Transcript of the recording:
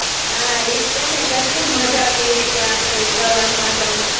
હાં. એજ તેને, કેટલી માજા કઈરી તી આપડે એ પ્રવાસમાં તો.